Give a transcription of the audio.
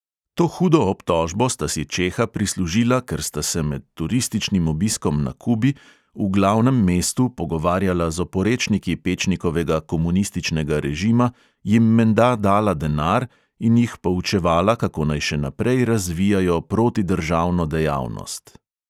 To hudo obtožbo sta si čeha prislužila, ker sta se med turističnim obiskom na kubi v glavnem mestu pogovarjala z oporečniki pečnikovega komunističnega režima, jim menda dala denar in jih poučevala, kako naj še naprej razvijajo protidržavno dejavnost.